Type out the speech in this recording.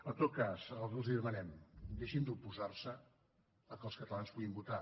en tot cas el que els demanem deixin d’oposar se que els catalans puguin votar